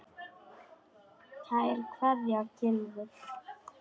Kær kveðja, Gylfi.